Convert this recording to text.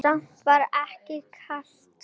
Samt var ekkert kalt úti.